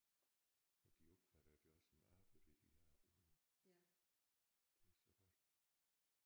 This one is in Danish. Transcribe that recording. Og de opfatter det også som arbejde det de har det så godt